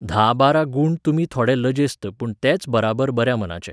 धा बारा गूण तुमी थोडॆ लजेस्त पूण तेच बराबर बऱ्या मनाचे.